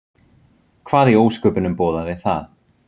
Hvað í ósköpunum boðaði það?